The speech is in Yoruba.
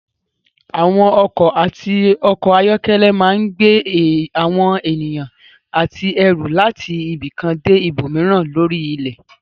Àwọn ọkọ̀ àti ọkọ̀-ayọ́kẹ́lẹ́ máa gbé àwọn ènìyàn àti ẹrù láti ibi kan dé ibòmíràn lórí ilẹ̀.